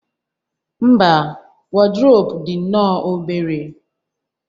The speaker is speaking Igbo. mba, wardrobe dị nnọọ obere